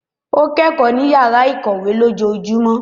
O kọ ẹkọ ni yara ikọwe lójoojúmó.